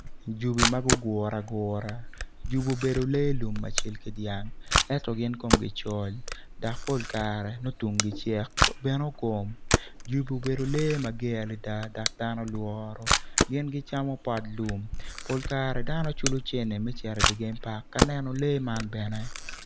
Jobi ma gugure agura jobi obedo lee lum ma cal ki dyang ento gin komgi col dok pol kare nongo tunggi cek bene ogom jobi obedo lee mager adada dok dano lworo gin gicamo pot lum pol kare dano culo cene me cito idi game park ka neno lee man bene.